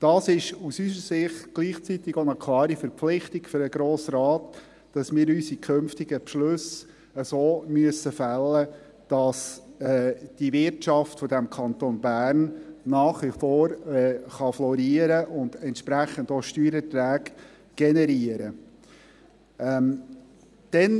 Dies ist aus unserer Sicht gleichzeitig auch eine klare Verpflichtung für den Grossen Rat, dass wir unsere künftigen Beschlüsse so fällen müssen, dass die Wirtschaft des Kantons Bern nach wie vor florieren und dementsprechend auch Steuereinträge generieren kann.